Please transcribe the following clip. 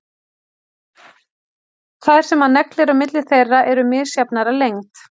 Þær sem hann neglir á milli þeirra eru misjafnar að lengd.